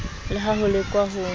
le ha ho lekwa ho